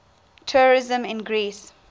tourism in greece